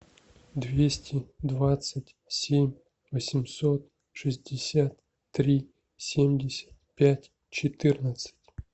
двести двадцать семь восемьсот шестьдесят три семьдесят пять четырнадцать